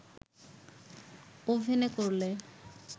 ওভেনে করলে